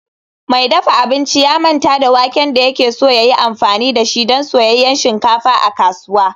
Mai dafa abinci ya manta da waken da yake so ya yi amfani da shi don soyayyen shinkafa a kasuwa